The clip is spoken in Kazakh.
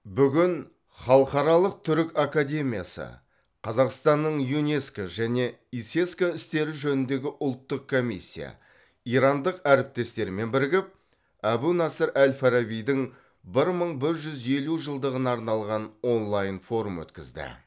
бүгін халықаралық түрік академиясы қазақстанның юнеско және исеско істері жөніндегі ұлттық комиссия ирандық әріптестерімен бірігіп әбу насыр әл фарабидің бір мың бір жүз елу жылдығына арналған онлайн форум өткізді